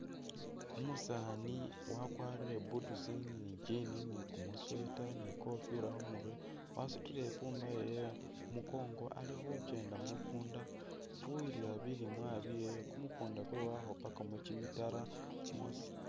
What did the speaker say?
Umusaani wakwarire boots, ni i'jean, ni kumusweater, ni i'kofila khu murwe, wasutile i'pumba yewe ali khukenda mu kuunda nga afuwilila bilimwa byewe. Kumukunda kwe wakhupakamu kimitaro mwosi.